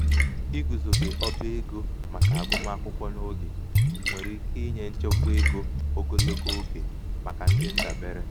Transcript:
igùzòbe ọba egō màkà àgụmakwụkwọ n’ogè um nwèrè ike inyē nchekwa egō oglogo egō oglogo ogè màkà ndị ndàbere